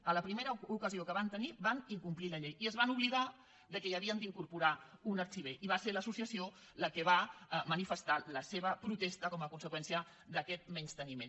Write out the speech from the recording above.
a la primera ocasió que van tenir van incomplir la llei i es van oblidar que hi havien d’incorporar un arxiver i va ser l’associació la que va manifestar la seva protesta com a conseqüència d’aquest menysteniment